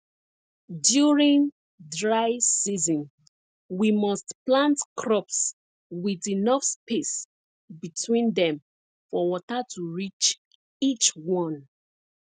during dry season we must plant crops with enough space between them for water to reach each one